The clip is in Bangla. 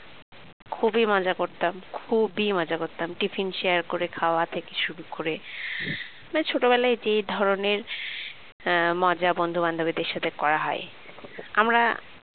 খুবই মজা করতাম খুবই মজা করতাম tiffin share করে খাওয়া থেকে শুরু করে মানে ছোটবেলায় যে ধরনের মজা বন্ধু বান্ধবীদের সাথে করা হয় আমরা